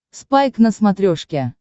спайк на смотрешке